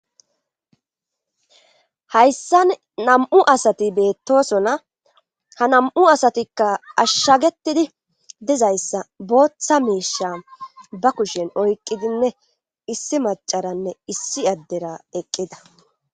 Hayssan nam7u asati beettosona ha nam7u asatikka ashshagetidi dizayssa booththa miisha ba kushen oyqqidinne issi macaranne issi addera eqqida.